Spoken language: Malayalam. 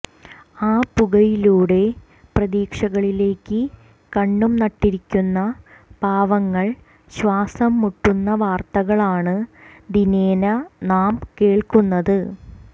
ആ പുകയിലൂടെ പ്രതീക്ഷകളിലേക്ക് കണ്ണും നട്ടിരിക്കുന്ന പാവങ്ങൾ ശ്വാസം മുട്ടുന്ന വാർത്തകളാണ് ദിനേന നാം കേൾക്കുന്നത്